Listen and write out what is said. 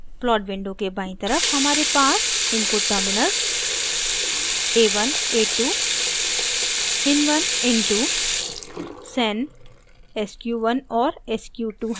plot window के बायीं तरफ हमारे पास input terminals a1 a2 in1 in2 sen sq1 और sq2 हैं